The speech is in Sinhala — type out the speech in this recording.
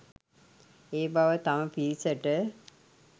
ඒ බව තම පිරිසට